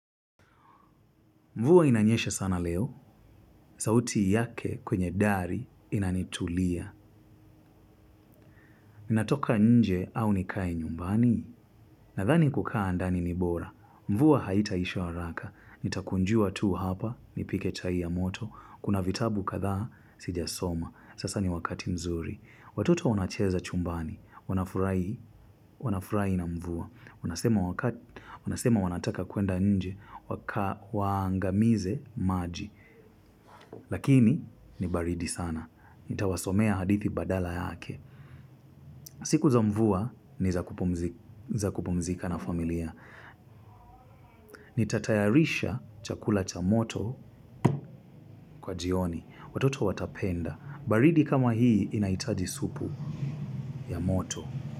Mvua inanyesha sana leo. Sauti yake kwenye dari inanitulia. Ninatoka nje au nikae nyumbani? Nadhani kukaa alndani ni bora. Mvua haitaisha waraka. Nitakunjua tu hapa, nipike chai ya moto. Kuna vitabu kadhaa, sijasoma. Sasa ni wakati mzuri. Watoto wanacheza chumbani. Wanafurahi na mvua. Wanasema wanataka kuenda nje. Waangamize maji. Lakini, ni baridi sana. Nitawasomea hadithi badala yake. Siku za mvua, ni za kupumzika na familia. Nitatayarisha chakula cha moto, kwa jioni. Watoto watapenda. Baridi kama hii inahitaji supu ya moto.